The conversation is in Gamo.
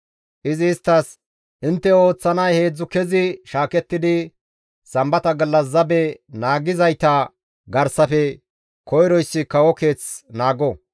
Izi isttas, «Intte ooththanay heedzdzu kezi shaakettidi sambata gallas zabe naagizayta garsafe koyroyssi kawo keeth naago.